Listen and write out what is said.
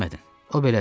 O belədir.